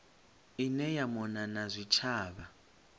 ine ya mona na zwitshavha